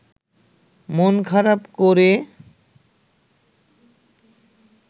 মন খারাপ করে